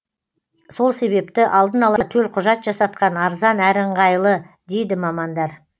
сол себепті алдын ала төлқұжат жасатқан арзан әрі ыңғайлы дейді мамандар